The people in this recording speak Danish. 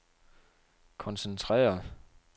koncentrere